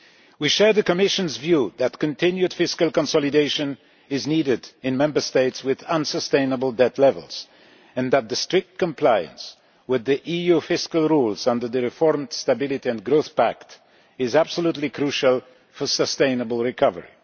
We share the Commission's view that continued fiscal consolidation is needed in Member States with unsustainable debt levels and that strict compliance with EU fiscal rules under the reformed Stability and Growth Pact is absolutely crucial for sustainable recovery.